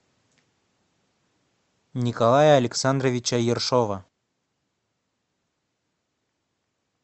николая александровича ершова